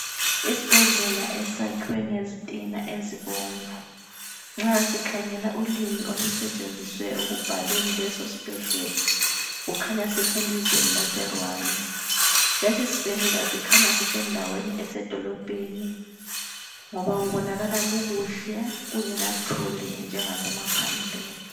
Isibhedlela esakhiwe ngezitina ezibomvu nxa sikhangela ulimi olusetsenziswe ukubhalela lesosibhedlela kukhanya siselizweni laseRwanda. Lesi sibhedlela sikhanya sisendaweni esedolobheni ngoba kubonakala kukuhle kungela thuli njangasemaphandleni.